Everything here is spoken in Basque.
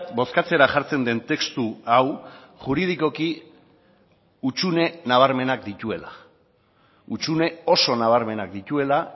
bozkatzera jartzen den testu hau juridikoki hutsune nabarmenak dituela hutsune oso nabarmenak dituela